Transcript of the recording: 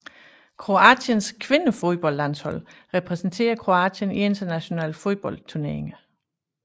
Kroatiens kvindefodboldlandshold repræsenterer Kroatien i internationale fodboldturneringer